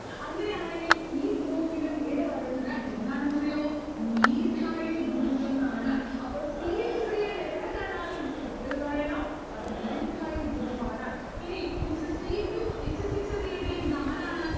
അങ്ങനെയാണെങ്കിൽ ഈ group ന്റെ പേരു പറയുന്നത് എന്താണെന്നറിയോ? methyl group എന്നാണ്. അപ്പോൾ c h three നെ എവിടെ കണ്ടാലും ന്റെ കുട്ടികൾ പറയണം അത് methyl group ആണ്. ഇനി h c two h six എന്ന് എഴുതിയാൽ ഇത് ആരാണ്?